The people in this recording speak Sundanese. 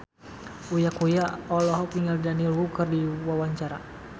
Uya Kuya olohok ningali Daniel Wu keur diwawancara